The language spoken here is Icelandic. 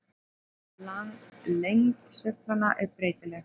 Lengd sveiflanna er breytileg.